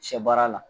Sɛ baara la